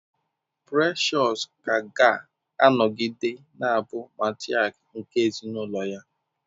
Precious ka ga-anọgide na-abụ matrịak nke ezinụlọ ya.